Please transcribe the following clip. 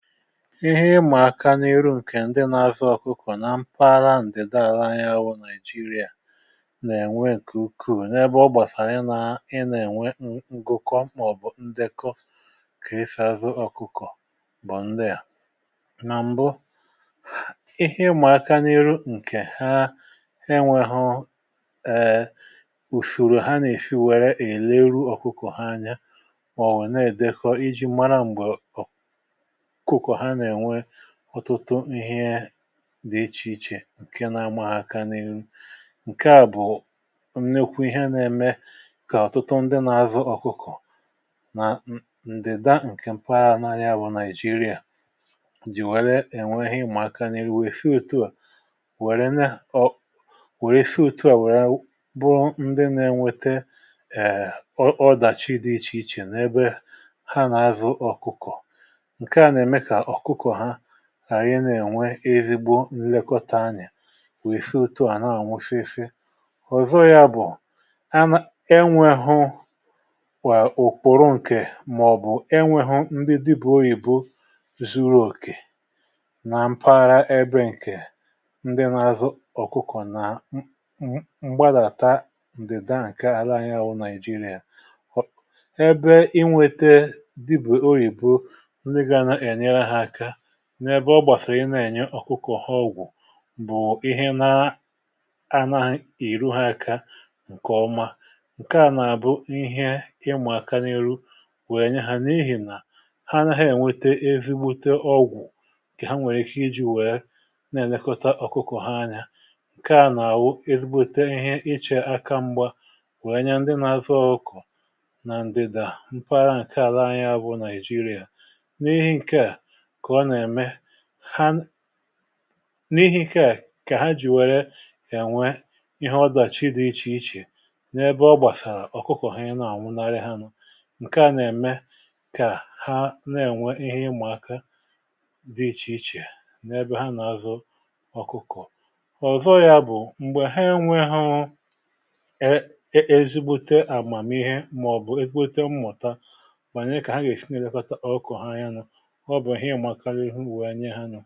ihe ịmà aka n’iru ǹkè ndị nȧ-ȧzụ ọkụkọ̀ nà mpaghara ǹdị dalala anya wụ nàigeria nà-ènwe ǹkè ukwuù n’ebe ọ gbàsàrà ị nȧ-ȧnwe ǹkụkọ um mà ọ̀bụ̀ ndekọ kà ị fèe azụ ọkụkọ̀ bụ̀ ndị à. nà m̀bụ ihe ịmà aka n’iru ǹkè ha enwėhu̇ ùsùrù ha nà-èsi wère èleru ọkụkọ̀ anya mà ọ̀ wèe na-èdekọ iji̇ mara m̀gbè ọtụtụ ihe dị ichèichè ǹke na-amụ ha aka n’ihu. ǹke à bụ̀ nnekwe ihe na-eme kà ọtụtụ ndị na-avụ ọ̀kụkụ̀ nà ǹdịda ǹkè m̀pa nari abụ naịjirịà dìwàre um enweghì ịmụ̀ aka n’iri wèe fị otu à wère na o wère fị otu à wère bụrụ ndị na-enwete ẹ̀ọdàchị dị ichèichè n’ebe ha na-avụ ọ̀kụkụ̀. ànyị nà-ènwe ezigbo nlekọta anyà wèe fee otu ànaghị nwe fee fee họzọ ya bụ̀ e nwehu nwè ụ̀kpụrụ ǹkè màọ̀bụ̀ e nwehu ndị dibù orị̀bụ̀ zuru òkè nà mpaghara. ebe ǹkè ndị n’azụ ọkụkọ̀ nà m m gbalàta ndị da ǹkè ala anyị wụ Nigeria, ebe inwete dibù orị̀bụ̀ n’ebe ọ gbàsàrà ị na-ènye ọ̀kụkọ̀ ha ọgwụ̀ bụ̀ ihe na a na-ìru ha aka ǹkèọma. ǹke à nà-àbụ ihe ịmụ̀ aka n’ihu wèe nye ha n’ihì nà ha anaghị̀ ènwete ezigbute ọgwụ̀ um kà ha nwèrè iji̇ wèe na-èlekọta ọ̀kụkọ̀ ha anya. ǹke à nà-àwụ ezigbute ihe ịchè aka mgba wèe nye ndị nà azụ ọkụ na ndịdà mpara à ǹke ala anya bụ nàịjirịa. n’ihi ǹke à n’ihi ikė à kà ha jìwere kà ènwe ihe ọdàchighi dị ichè ichè n’ebe ọ gbàsàrà ọ̀kụkọ̀ ọ̀hànye na-àwụnarị ha nụ̇. ǹke à n’eme kà ha na-ènwe ihe ịmụ̀aka dị ichè ichè n’ebe ha nà-azụ ọ̀kụkụ̀ ọ̀zọ. yȧ bụ̀ m̀gbè ha enwe ha e ezigbute àgmàmihe mà ọ̀ bụ̀ ezigbute mmụ̀ta mànyè kà ha gà-èsi na-èkota ọkụ̀ ha yȧnụ̇ ǹkẹ̀rẹ̀ ihe ụlọ̀ onye ha nyò.